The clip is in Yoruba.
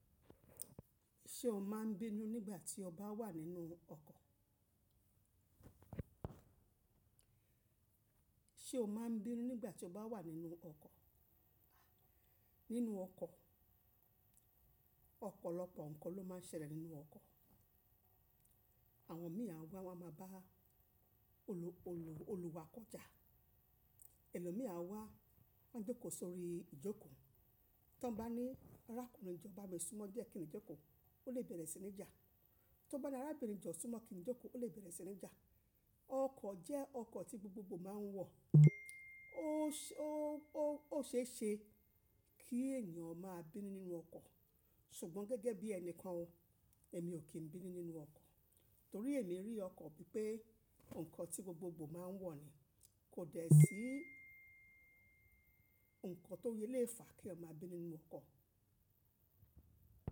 Ṣé o ma ń bínú nígbà tí o bá wà nínú ọkọ̀? Ṣé o ma ń bínú nígbà tí o bá wà nínú ọkọ̀? Nínú ọkọ̀, ọ̀pọ̀lọpọ̀ nǹkan ló máa ń ṣẹlẹ̀ nínú ọkọ̀. Àwọn mì á wa máa ba olùwà kọjá, ẹlòmí à wa máa ń jókòó sórí ìjókòó. Tí wọ́n bá ní arákùnrin jọ ba mi súnmọ́ diẹ́ kí n jókòó, ó lè bẹ̀rẹ̀ sí ní jà. Tí wọ́n bá ní arábìnrin jọ súnmọ́ kí n jókòó, ó lè bẹ̀rẹ̀ sí ní jà. Ọkọ̀ jẹ́ ọkọ̀ tí gbogbogbò máa ń wọ̀, ó ṣe é ṣe kí ènìyàn máa bínú nínú ọkọ̀. Ṣùgbọ́n gẹ́gẹ́ bí ẹni kan, èmi ò kín bínú nínú ọkọ̀ torí èmi rí ọkọ̀ bí pé ǹkan tí gbogbogbò máa ń wọ̀ ni. Kò dẹ́ sí ǹkan tó yẹ lé fà kí ọmọ bínú nínú ọkọ̀.